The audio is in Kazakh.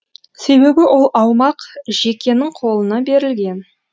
себебі ол аумақ жекенің қолына берілген